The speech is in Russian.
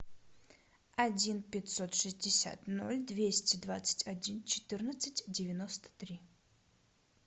один пятьсот шестьдесят ноль двести двадцать один четырнадцать девяносто три